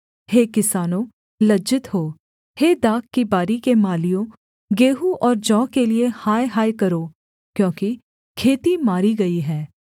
हे किसानों लज्जित हो हे दाख की बारी के मालियों गेहूँ और जौ के लिये हाय हाय करो क्योंकि खेती मारी गई है